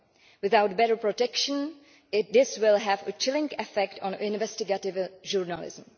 Without better protection, this will have a chilling effect on investigative journalism.